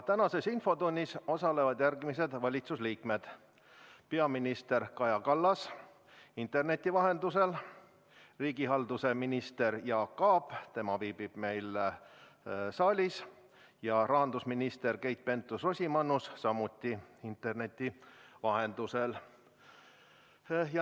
Tänases infotunnis osalevad järgmised valitsuse liikmed: peaminister Kaja Kallas interneti vahendusel, riigihalduse minister Jaak Aab, tema viibib meil saalis, ja rahandusminister Keit Pentus-Rosimannus samuti interneti vahendusel.